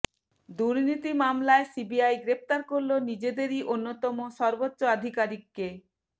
দুর্নীতি মামলায় সিবিআই গ্রেফতার করল নিজেদেরই অন্যতম সর্বোচ্চ আধিকারিককে